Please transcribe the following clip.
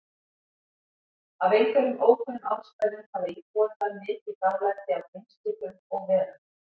Af einhverjum ókunnum ástæðum hafa íbúar þar mikið dálæti á geimskipum og-verum.